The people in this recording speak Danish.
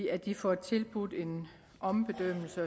at de får tilbudt en ombedømmelse